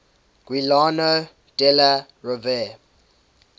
giuliano della rovere